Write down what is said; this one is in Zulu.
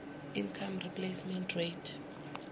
income replacement rate